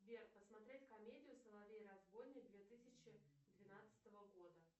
сбер посмотреть комедию соловей разбойник две тысячи двенадцатого года